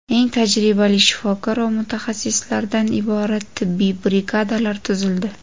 Eng tajribali shifokor va mutaxassislardan iborat tibbiy brigadalar tuzildi.